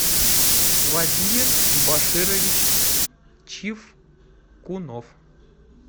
владимир баширович чивкунов